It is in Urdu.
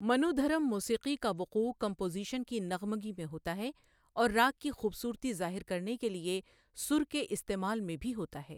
منودھرم موسیقی کا وقوع کمپوزیشن کی نغمگی میں ہوتا ہے اور راگ کی خوبصورتی ظاہر کرنے کے لیے سُر کے استعمال میں بھی ہوتا ہے۔